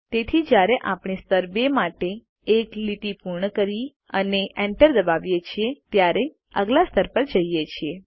તેથી જયારે આપણે સ્તર 2 માટે એક લીટી પૂર્ણ કરી અને Enter દબાવીએ છીએ ત્યારે આગલા સ્તર પર જઈએ છીએ